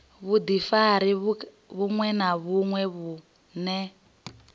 vhudifari vhuṅwe na vhuṅwe vhune